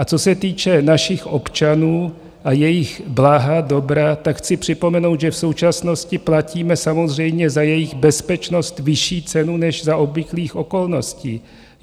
A co se týče našich občanů a jejich blaha, dobra, tak chci připomenout, že v současnosti platíme samozřejmě za jejich bezpečnost vyšší cenu, než za obvyklých okolností.